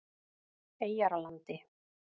Eyjarlandi